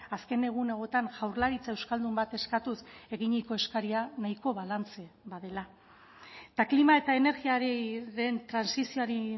azken egun hauetan jaurlaritza euskaldun bat eskatuz eginiko eskaria nahiko balantze badela eta klima eta energia ari den trantsizioari